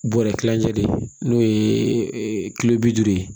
Bɔrɛ kilancɛ de ye n'o ye kilo bi duuru ye